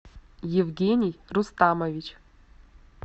евгений рустамович